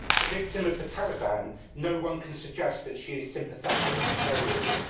A victim of the Taliban, noone can suggest that she is sympathetic to terrorism.